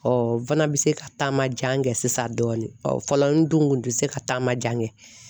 Ɔ n fana bɛ se ka taama jan kɛ sisan dɔɔni, ɔ fɔlɔ n dun kun ti se ka taama jan kɛ.